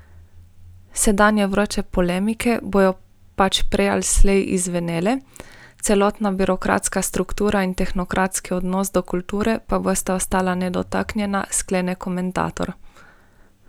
Sedanje vroče polemike bodo pač prej ali slej izzvenele, celotna birokratska struktura in tehnokratski odnos do kulture pa bosta ostala nedotaknjena, sklene komentator.